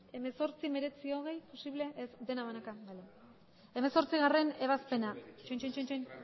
hemezortzi hemeretzi hogei posible ez denak banaka bale